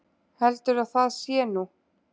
Heldurðu að það sé nú!